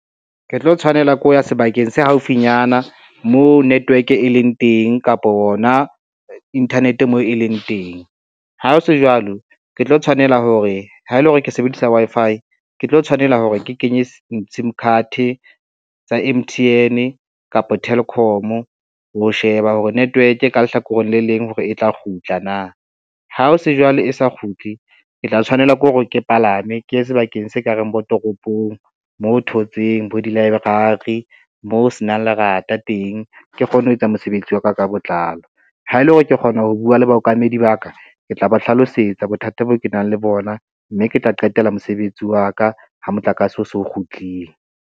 Ke tlo tshwanela ke ho ya sebakeng se haufinyana moo network e leng teng kapo hona internet moo e leng teng. Ha ho se jwalo, ke tlo tshwanela hore, ha ele hore ke sebedisa Wi-Fi ke tlo tshwanela hore ke kenye sim card tsa M_T_N kapa Telkom ho sheba hore network ka lehlakoreng le leng hore e tla kgutla na. Ha o se jwale e sa kgutle, ke tla tshwanela ke hore ke palame ke ye sebakeng se ka reng bo toropong mo thotseng bo di-library mo ho senang lerata teng, ke kgone ho etsa mosebetsi wa ka ka botlalo ha ele hore ke kgona ho bua le baokamedi ba ka, ke tla ba hlalosetsa bothata bo ke nang le bona, mme ke tla qetela mosebetsi wa ka ha motlakase o so kgutlile.